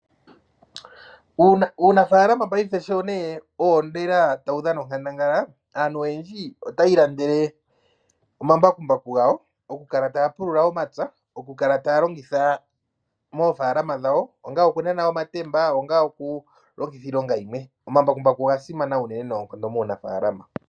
Uunafaalama paife sho nee owo ta wu dhana onkandangala , aantu oyendji ota ya ilandele omambakumbaku gawo oku kala taya pulula omapya, oku kala ta ya longitha moofaalama dhawo onga oku nana omatemba, onga oku longitha iilonga yimwe, omambakumbaku oga simana unene noonkondo muunafaalama.